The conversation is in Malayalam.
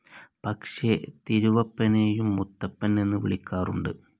പക്ഷേ തിരുവപ്പനെയും മുത്തപ്പൻ എന്ന് വിളിക്കാറുണ്ട്.